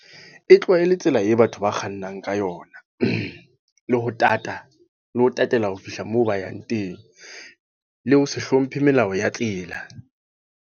E tlowa e le tsela e batho ba kgannang ka yona. Le ho tata, le ho tatela ho fihla moo ba yang teng. Le ho se hlomphe melao ya tsela.